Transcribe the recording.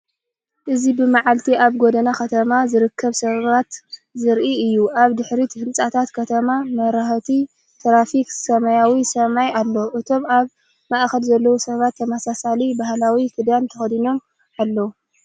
እዚ ብመዓልቲ ኣብ ጎደና ከተማ ዝርከቡ ሰባት ዘርኢ እዩ። ኣብ ድሕሪት ህንጻታት ከተማ፡ መብራህቲ ትራፊክን ሰማያዊ ሰማይን ኣሎ። እቶም ኣብ ማእከል ዘለዉ ሰባት ተመሳሳሊ ባህላዊ ክዳን ተኸዲኖም ኣለው።